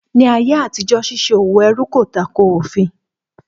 Ní ayé àtíjọ́, ṣíṣe òwò ẹrú kò tako òfin.